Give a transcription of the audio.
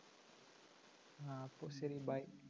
ആ അപ്പൊ ശരി bye